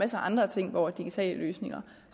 af andre ting hvor digitale løsninger